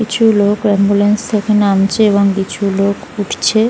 কিছু লোক অ্যাম্বুলেন্স থেকে নামছে এবং কিছু লোক উঠছে--